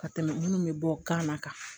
Ka tɛmɛ minnu bɛ bɔ kan na kan